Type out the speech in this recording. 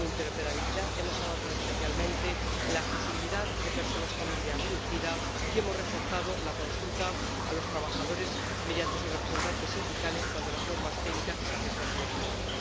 En interoperabilidad hemos avanzado especialmente en la accesibilidad de personas con movilidad reducida y hemos reforzado la consulta a los trabajadores, a través de sus representantes sindicales, cuando las normas técnicas les afectan directamente.